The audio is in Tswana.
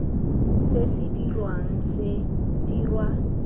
se se dirwang se dirwa